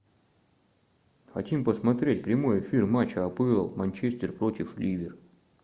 хотим посмотреть прямой эфир матча апл манчестер против ливер